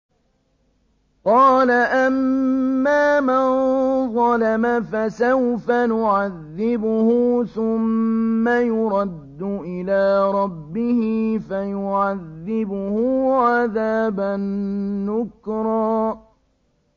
قَالَ أَمَّا مَن ظَلَمَ فَسَوْفَ نُعَذِّبُهُ ثُمَّ يُرَدُّ إِلَىٰ رَبِّهِ فَيُعَذِّبُهُ عَذَابًا نُّكْرًا